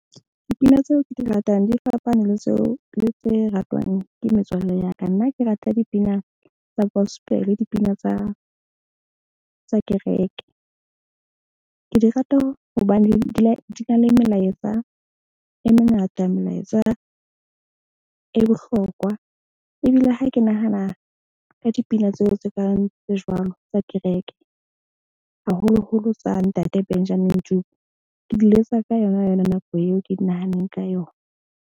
Dipina tseo ke di ratang, di fapane le tseo le tse ratwang ke metswalle ya ka. Nna ke rata dipina tsa gospel dipina tsa kereke. Ke di rata hobane di na le melaetsa. E mengata melaetsa e bohlokwa. Ebile ha ke nahana ka dipina tseo tse kang tse jwalo tsa kereke, haholoholo tsa Ntate Benjamin Dube. Ke di letsa ka yona yona nako eo ke di nahanneng ka yona.